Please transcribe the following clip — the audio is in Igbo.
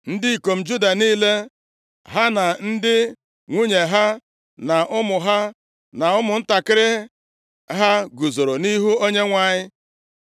Ndị ikom Juda niile, ha na ndị nwunye ha, na ụmụ ha, na ụmụntakịrị ha guzoro nʼihu Onyenwe anyị.